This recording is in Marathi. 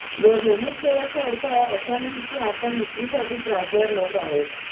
वर नमूद केल्याचा अर्थ असा नाही की आपण विक्रीसाठी त्रासदार लोक आहोत